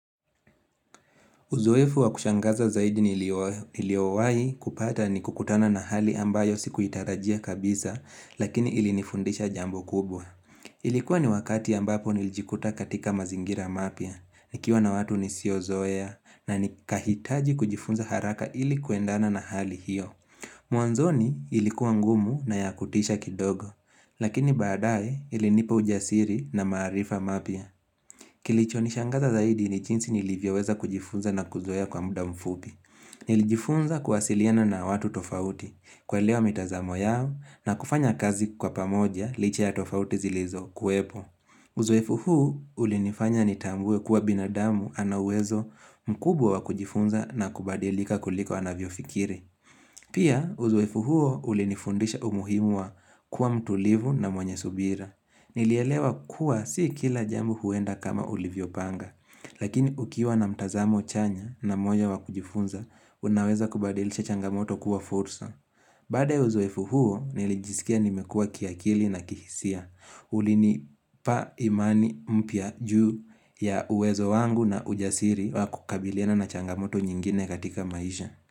Uzoefu wa kushangaza zaidi niliowahi kupata ni kukutana na hali ambayo sikuitarajia kabisa lakini ili nifundisha jambo kubwa. Ilikuwa ni wakati ambapo nilijikuta katika mazingira mapya, nikiwa na watu nisiozoea na nikahitaji kujifunza haraka ili kuendana na hali hiyo. Mwanzoni ilikuwa ngumu na ya kutisha kidogo lakini badae ilinipa ujasiri na maarifa mapya. Kilicho nishangaza zaidi ni jinsi nilivyoweza kujifunza na kuzoea kwa muda mfupi. Nilijifunza kuwasiliana na watu tofauti, kuelewa mitazamo yao na kufanya kazi kwa pamoja licha ya tofauti zilizokuwepo. Uzoefu huu ulinifanya nitambue kuwa binadamu ana uwezo mkubwa wa kujifunza na kubadilika kuliko anavyofikiri. Pia uzoefu huo ulinifundisha umuhimu wa kuwa mtulivu na mwenye subira. Nilielewa kuwa si kila jambo huenda kama ulivyopanga Lakini ukiwa na mtazamo chanya na moyo wa kujifunza Unaweza kubadilisha changamoto kuwa fursa Baada ya uziefu huo nilijisikia nimekua kiakili na kihisia Ulinipa imani mpya juu ya uwezo wangu na ujasiri wa kukabiliana na changamoto nyingine katika maisha.